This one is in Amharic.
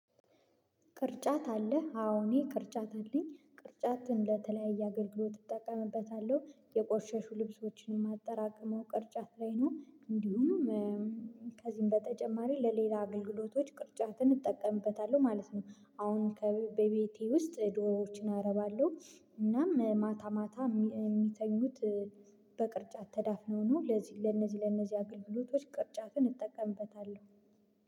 ቅርጫት አለ? አዎ እኔ ቅርጫት አለኝ ቅርጫትን ለተለያየ አገልግሎት እጠቀምበታለሁ፤ የቆሸሹ ልብሶችንም የማጠራቅመው ቅርጫት ላይ ነው እንዲሁም ከዚህም በተጨማሪ ለሌላ አገልግሎቶች ቅርጫትን እጠቀምበታለሁ ማለት ነው፤ አሁን ከ በቤቴ ውስጥ ዶሮዎችን አረባለሁ እናም ማታ ማታ የሚተኙት በቅርጫት ተዳፍኖ ነው፤ ለዚህ ለነዚህ ለነዚህ አገልግሎቶች ቅርጫትን እጠቀምበታለሁ፤